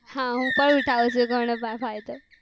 હા હું પણ ઉઠાવું છું ઘણું ફાયદો